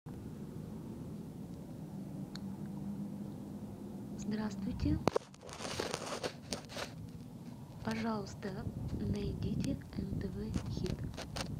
здравствуйте пожалуйста найдите нтв хит